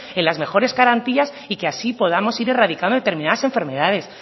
en la mejores garantías y que así podamos ir erradicando determinadas enfermedades